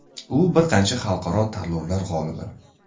U bir qancha xalqaro tanlovlar g‘olibi.